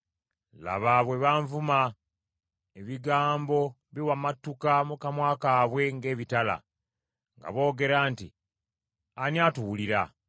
Laba, bwe bavuma! Ebigambo biwamatuka mu kamwa kaabwe ng’ebitala, nga boogera nti, “Ani atuwulira?”